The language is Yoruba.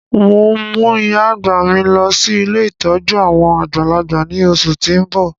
N o mu ìyá-àgbà mi lọ si ilé ìtójú àwon àgbàlagbà ni oṣù ti n bọ.